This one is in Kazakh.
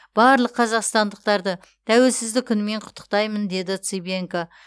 барлық қазақстандықтарды тәуелсіздік күнімен құттықтаймын деді цыбенко